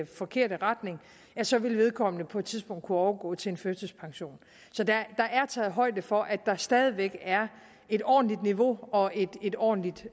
forkerte retning at så vil vedkommende på et tidspunkt kunne overgå til en førtidspension så der er taget højde for at der stadig væk er et ordentligt niveau og et ordentligt